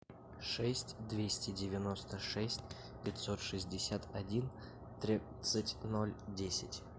шесть двести девяносто шесть пятьсот шестьдесят один тридцать ноль десять